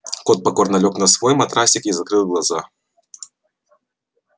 кот покорно лёг на свой матрасик и закрыл глаза